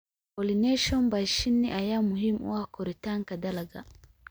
Pollination by shinni ayaa muhiim u ah koritaanka dalagga.